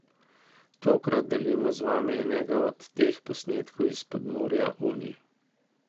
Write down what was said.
Tokrat delimo z vami enega od teh posnetkov iz podmorja Unij.